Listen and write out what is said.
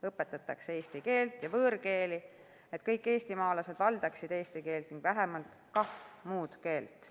Õpetatakse eesti keelt ja võõrkeeli, et kõik eestimaalased valdaksid eesti keelt ning vähemalt kaht muud keelt.